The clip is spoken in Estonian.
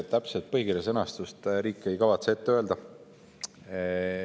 Täpset põhikirja sõnastust riik ei kavatse ette öelda.